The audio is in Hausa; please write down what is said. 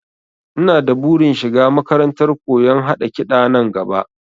Ina da burin shiga makarantar koyon haɗa kiɗa nan gaba